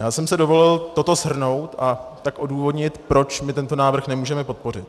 Já jsem si dovolil toto shrnout a tak odůvodnit, proč my tento návrh nemůžeme podpořit.